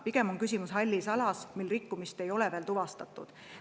Pigem on küsimus hallis alas, mil rikkumist ei ole veel tuvastatud.